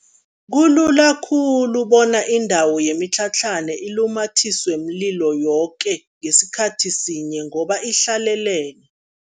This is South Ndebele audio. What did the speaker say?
Kulula khulu bona indawo yemitlhatlhana ilumathiswe mlilo yoke ngesikhathi sinye ngoba ihlalelene.